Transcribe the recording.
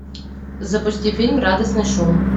запусти фильм радостный шум